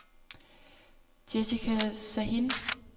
Jessica Sahin